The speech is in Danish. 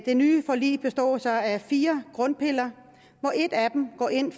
nye forlig består så af fire grundpiller og en af dem går ind